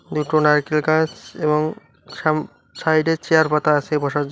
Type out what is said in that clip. দুটো নারকেল গাছ এবং সাম সাইডে চেয়ার পাতা আছে বসার জ--